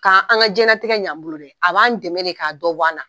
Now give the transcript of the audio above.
Ka an ka jɛnɛtigɛ ɲan an bolo dɛ a b'an dɛmɛ de ka dɔ bɔ an na.